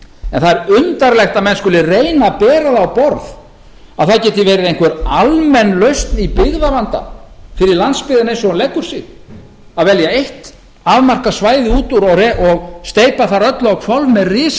en það er undarlegt að menn skuli reyna að bera það á borð að það geti verið einhver almenn lausn í byggðavanda fyrir landsbyggðina eins og hún leggur sig að velja eitt afmarkað svæði út úr og steypa þar öllu á hvolf með